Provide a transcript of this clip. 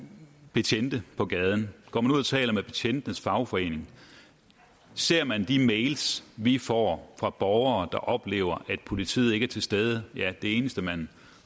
betjente på gaden går man ud og taler med betjentenes fagforening ser man de mails vi får fra borgere der oplever at politiet ikke er til stede ja det eneste man